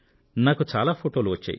నాకు చాలా ఫొటోలు వచ్చాయి